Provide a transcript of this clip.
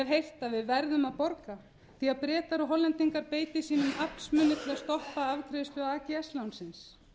heyrt að við verðum að borga því að bretar og hollendingar beiti sínum aflsmun til að stoppa afgreiðslu ags lánsins